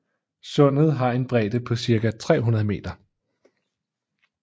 Sundet har en bredde på cirka 300 meter